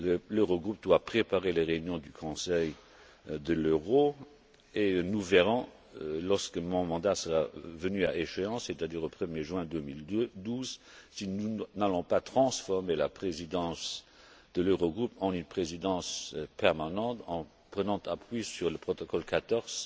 L'Eurogroupe doit préparer les réunions du Conseil de l'euro et nous verrons, lorsque mon mandat sera venu à échéance, c'est à dire au 1er juin 2012, si nous n'allons pas transformer la présidence de l'Eurogroupe en une présidence permanente en prenant appui sur le protocole 14